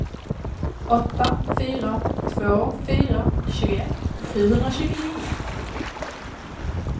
åtta fyra två fyra tjugoett sjuhundratjugonio